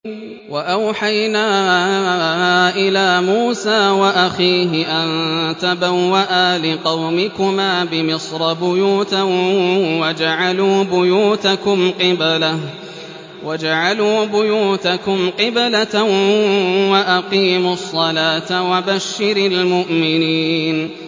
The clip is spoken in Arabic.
وَأَوْحَيْنَا إِلَىٰ مُوسَىٰ وَأَخِيهِ أَن تَبَوَّآ لِقَوْمِكُمَا بِمِصْرَ بُيُوتًا وَاجْعَلُوا بُيُوتَكُمْ قِبْلَةً وَأَقِيمُوا الصَّلَاةَ ۗ وَبَشِّرِ الْمُؤْمِنِينَ